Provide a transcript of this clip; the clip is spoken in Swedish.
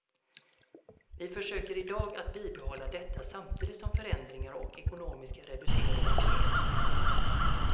Vi försöker idag att bibehålla detta samtidigt som förändringar och ekonomiska reduceringar sker.